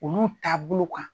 Olu taabolow kan